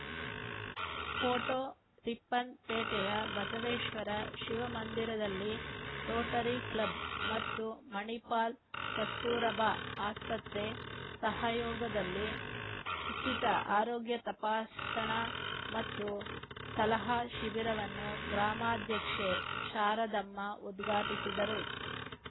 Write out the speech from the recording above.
photo ರಿಪ್ಪನ್‌ಪೇಟೆಯ ಬಸವೇಶ್ವರ ಶಿವಮಂದಿರದಲ್ಲಿ rotary club ಮತ್ತು ಮಣಿಪಾಲ್‌ ಕಸ್ತೂರಬಾ ಆಸ್ಪತ್ರೆ ಸಹಯೋಗದಲ್ಲಿ ಉಚಿತ ಆರೋಗ್ಯ ತಪಾಸಣಾ ಮತ್ತು ಸಲಹಾ ಶಿಬಿರವನ್ನು ಗ್ರಾಮಾಧ್ಯಕ್ಷೆ ಶಾರದಮ್ಮ ಉದ್ಘಾಟಿಸಿದರು